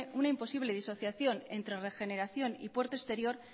una imposible disociación entre regeneración y puerto exterior